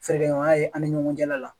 Fɛrɛ ɲɔgɔnya ye an ni ɲɔgɔn cɛla la